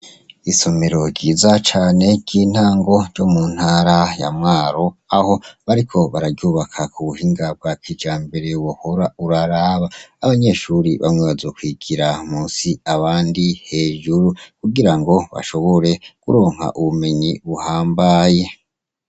Isomero ryiza cane ry'intango ryo mu ntara ya Mwaro aho bariko bararyubaka ku buhinga bwa kijambere wohora uraraba. Abanyeshure bamwe bazokwigira munsi abandi hejuru kugirango bashobore kuronka ubumenyi buhambaye.